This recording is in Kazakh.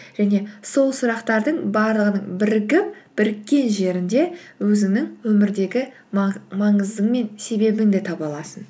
және сол сұрақтардың барлығының бірігіп біріккен жерінде өзіңнің өмірдегі маңызы мен себебін де таба аласың